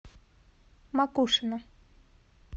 макушино